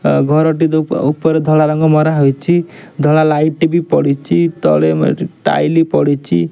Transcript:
ଓ ଘର ଟି ତ ଉପ ଉପରେ ଧଳା ରଙ୍ଗ ମରା ହୋଇଛି ଧଳା ଲାଇଟ ଟେ ବି ପଡ଼ିଚି ତଳେ ମେ ଏଠି ଟାଇଲି ପଡ଼ିଚି।